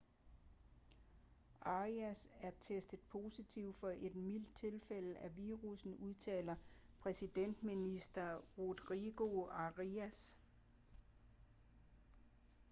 arias er testet positiv for et mildt tilfælde af virussen udtalte præsidentminister rodrigo arias